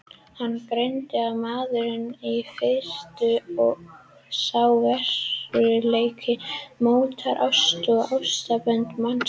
Hann greindi að maðurinn er firrtur og sá veruleiki mótar ást og ástarsambönd mannsins.